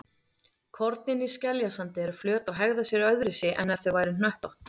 Kornin í skeljasandi eru flöt og hegða sér öðruvísi en ef þau væru hnöttótt.